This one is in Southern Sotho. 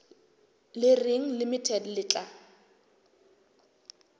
le reng limited le tla